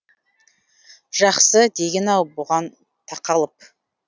жақсы деген анау бұған тақалып